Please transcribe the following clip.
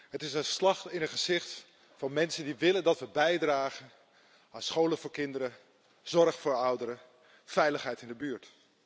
Het is een slag in het gezicht van mensen die willen dat we bijdragen aan scholen voor kinderen, zorg voor ouderen, veiligheid in de buurt.